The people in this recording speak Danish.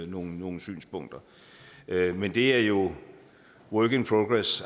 nogle nogle synspunkter men det er jo work in progress